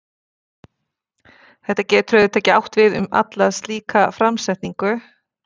Þetta getur auðvitað ekki átt við um alla slíka framsetningu.